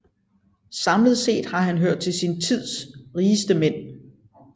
Samlet set har han hørt til sin tids rigeste mænd